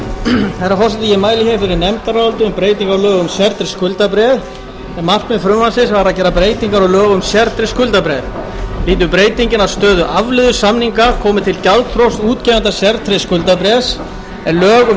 um breyting á lögum um sértryggð skuldabréf markmið frumvarpsins var að gera breytingar á lögum um sértryggð skuldabréf lýtur breytingin að stöðu afleiðusamninga komi til gjaldþrots útgefanda sértryggð skuldabréfs en lög um